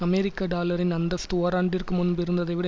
அமெரிக்க டாலரின் அந்தஸ்து ஓராண்டிற்கு முன்பு இருந்ததைவிட